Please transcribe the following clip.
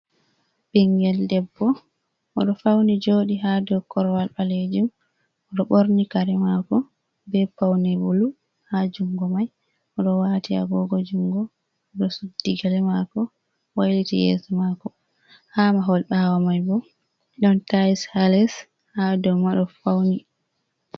Ɓingel ɗeɓɓo. Oɗo fauni joɗi ha ɗow korowal ɓalejum. Oɗo ɓorni kare mako, ɓe paune Bulu ha jungo mai. Oɗo wati agogo jungo. Oɗo suɗɗi gele mako, wailiti yeso mako. Ha mahol ɓawo mai ɓo ɗon tails ha les, ha ɗow ma ɗo fauni.